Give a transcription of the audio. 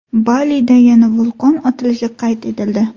Balida yana vulqon otilishi qayd etildi.